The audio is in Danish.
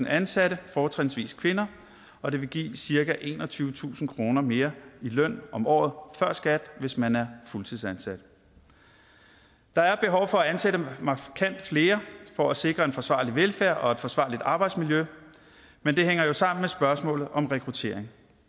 ansatte fortrinsvis kvinder og det vil give cirka enogtyvetusind kroner mere i løn om året før skat hvis man er fuldtidsansat der er behov for at ansætte markant flere for at sikre en forsvarlig velfærd og et forsvarligt arbejdsmiljø men det hænger jo sammen med spørgsmålet om rekruttering